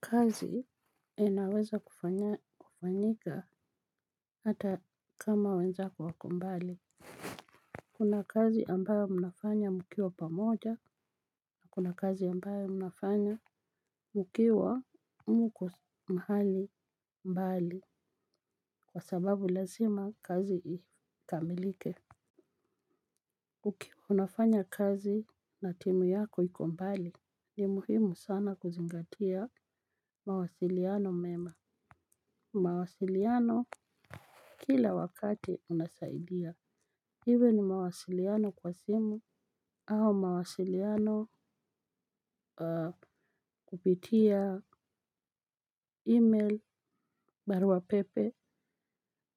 Kazi inaweza kufanyika ata kama wenzako wako mbali. Kuna kazi ambayo mnafanya mkiwa pamoja na kuna kazi ambayo mnafanya ukiwa mko mahali mbali kwa sababu lazima kazi ikamilike. Unafanya kazi na timu yako iko mbali ni muhimu sana kuzingatia mawasiliano mema. Mawasiliano kila wakati unasaidia, iwe ni mawasiliano kwa simu, au mawasiliano. Kupitia email baruapepe,